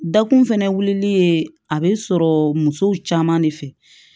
Dakun fɛnɛ wulili ye a be sɔrɔ musow caman de fɛ